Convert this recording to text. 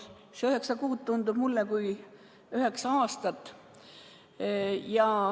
See üheksa kuud tundub mulle kui üheksa aastat.